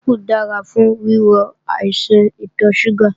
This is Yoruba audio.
Ápù dára fún wíwo àìsàn ìtọ̀ ṣúgà